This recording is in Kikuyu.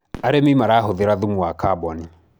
arĩmi marahuthira thumu wa carbon